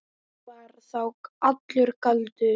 Þetta var þá allur galdur.